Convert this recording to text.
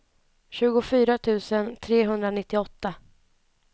tjugofyra tusen trehundranittioåtta